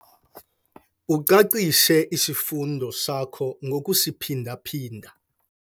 Ucacise isifundo sakho ngokusiphinda-phinda.